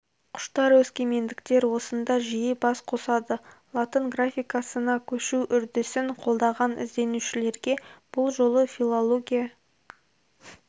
құштар өскемендіктер осында жиі бас қосады латын графикасына көшу үрдісін қолдаған ізденушілерге бұл жолы филология